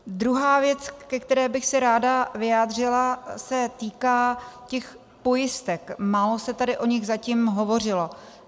Druhá věc, ke které bych se ráda vyjádřila, se týká těch pojistek, málo se tady o nich zatím hovořilo.